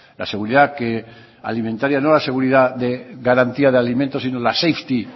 la seguridad que alimentaria no la seguridad de garantía de alimentos sino la safety